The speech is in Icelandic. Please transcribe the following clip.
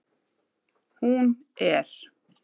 Hún er